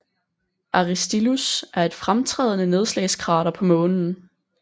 Aristillus er et fremtrædende nedslagskrater på Månen